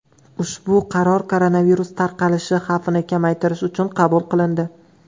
Ushbu qaror koronavirus tarqalishi xavfini kamaytirish uchun qabul qilindi.